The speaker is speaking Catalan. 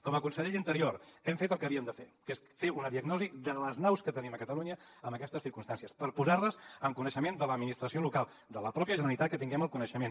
com a conseller d’interior hem fet el que havíem de fer que és fer una diagnosi de les naus que tenim a catalunya en aquestes circumstàncies per posar les en coneixement de l’administració local de la mateixa generalitat que en tinguem el coneixement